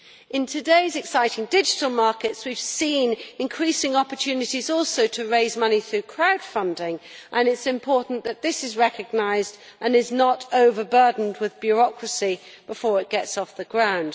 In today's exciting digital markets we have seen increasing opportunities also to raise money through crowdfunding, and it is important that this is recognised and is not overburdened with bureaucracy before it gets off the ground.